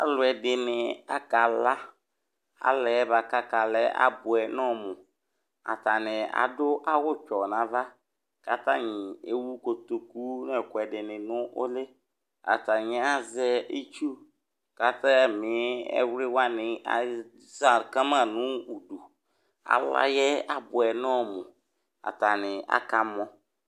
Alu ɛdini akala alayɛ akala abuɛ nɔmu atanu adu awu tsɔ nava fayi atani ewu kotu ku ewu ɛkuɛdi nu uli atani azɛ itu azɛ nu awliwa atimidu alayɛ labuɛ nɔmu atani akamɔ